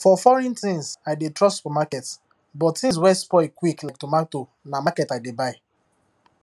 for foreign things i dey trust supermarket but things wey spoil quick like tomato na market i dey buy